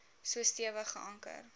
so stewig geanker